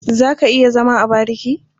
Za ka iya zama a bariki?